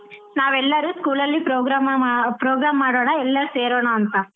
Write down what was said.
ನಾವ್ ಎಲ್ಲರು school ಅಲ್ಲಿ program ಮಾಡ್~ program ಮಾಡಣ ಎಲ್ಲರು ಸೇರೋಣ ಅಂತಾ.